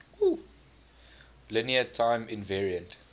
linear time invariant